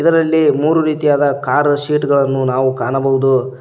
ಇದರಲ್ಲಿ ಮೂರು ರೀತಿಯಾದ ಕಾರ್ ಸೀಟ್ ಗಳನ್ನು ನಾವು ಕಾಣಬೋದು.